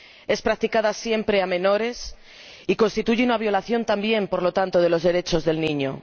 Es practicada siempre a menores y constituye una violación también, por tanto, de los derechos del niño.